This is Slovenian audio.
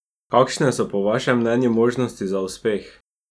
Kakšne so po vašem mnenju možnosti za uspeh?